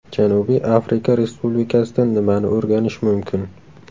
Janubiy Afrika Respublikasidan nimani o‘rganish mumkin?